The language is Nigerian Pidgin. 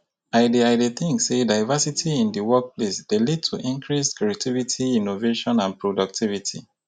i dey i dey think say diversity in di workplace dey lead to increased creativity innovation and productivity.